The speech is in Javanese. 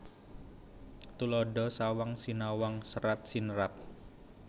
Tuladha sawang sinawang serat sinerat